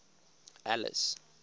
alice